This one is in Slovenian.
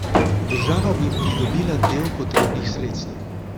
Država bi pridobila del potrebnih sredstev.